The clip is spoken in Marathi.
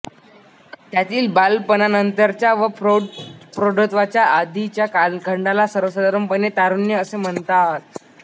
त्यातील बालपणानंतरच्या व प्रौढत्वाच्या आधीच्या कालखंडाला सर्वसाधारणपणे तारुण्य असे म्हणतात